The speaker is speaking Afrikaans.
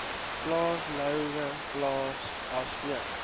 plaas louwplaas asook